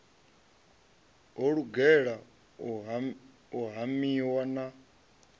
ho lugela u hamiwa na